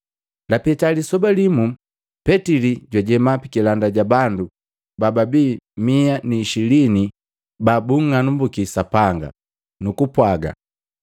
Lapeta lisoba limu Petili jwajema pikilanda ja bandu bababii mia ni ishilini babung'anambuki Sapanga, nukupwaga,